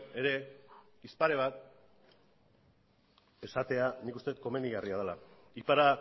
ere hitz pare bat esatea nik uste dut komenigarria dela y para